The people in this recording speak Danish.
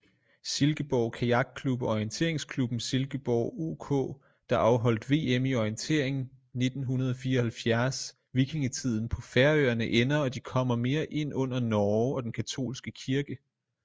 Silkeborg kajakklub og orienteringsklubben silkeborg ok der afholdt vm i orientering 1974Vikingetiden på færøerne ender og de kommer mere ind under norge og den katolske kirke